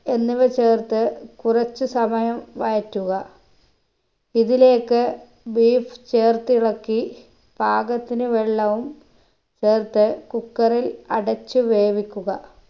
എന്നിവ ചേർത്ത് കുറച്ചു സമയം വഴറ്റുക ഇതിലേക്ക് beef ചേർത്തിളക്കി പാകത്തിന് വെള്ളവും ചേർത്ത് cooker ഇൽ അടച്ച് വേവിക്കുക